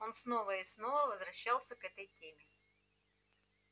он снова и снова возвращался к этой теме